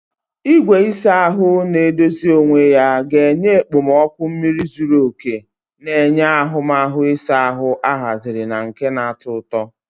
Igwe ịsa ahụ na-edozi onwe ya ga-enye okpomọkụ mmiri zuru oke, na-enye ahụmahụ ịsa ahụ ahaziri na nke na-atọ ụtọ.